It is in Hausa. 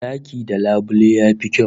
Daki da labule yafi kyau